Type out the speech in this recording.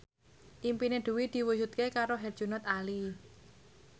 impine Dwi diwujudke karo Herjunot Ali